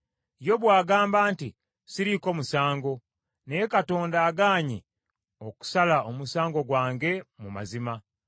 “Yobu agamba nti, ‘Siriiko musango, naye Katonda agaanye okusala omusango gwange mu mazima.